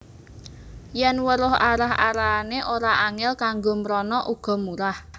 Yèn weruh arah arahané ora angèl kanggo mrana uga murah